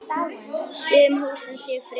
Sum húsin séu friðuð.